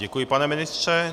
Děkuji, pane ministře.